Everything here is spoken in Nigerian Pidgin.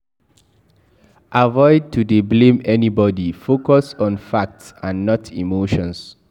Avoid to dey blame anybody, focus on facts and not emotions